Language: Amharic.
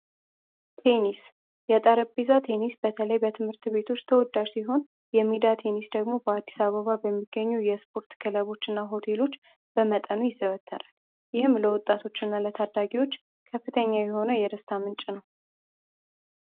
ቴኒስ የጠረጴዛ ቴኒስ በተለይ በትምህርት ቤት ውስጥ ተወዳጅ ሲሆን የሜዳ በአዲስ አበባ በሚገኙ የስፖርት ክለቦችና ሆቴሎች በመጠኑ ለወጣቶች እና ለታዳጊዎች ከፍተኛ የሆነ የደስታ ምንጭ ነው።